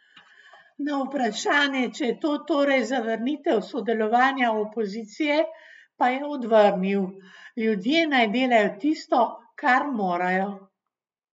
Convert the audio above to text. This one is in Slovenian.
Na vprašanje, če je to torej zavrnitev sodelovanja opozicije, pa je odvrnil: "Ljudje naj delajo tisto, kar morajo.